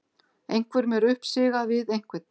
Einhverjum er uppsigað við einhvern